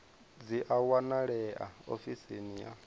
dzi a wanalea ofisini ya